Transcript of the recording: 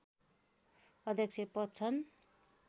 अध्यक्ष पद छन्।